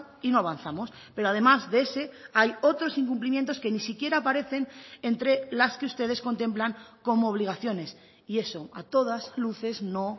y no avanzamos pero además de ese hay otros incumplimientos que ni siquiera aparecen entre las que ustedes contemplan como obligaciones y eso a todas luces no